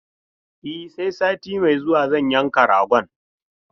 E, sai sati mai zuwa zan yanka ragon.